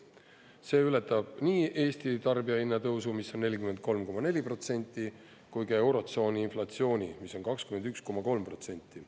See ületab nii Eesti tarbijahinna tõusu, mis on 43,4%, kui ka eurotsooni inflatsiooni, mis on 21,3%.